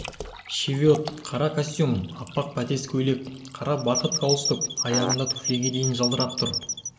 шевиот қара костюм аппақ бәтес көйлек қара барқыт галстук аяғындағы туфлиге дейін жалтырап тұр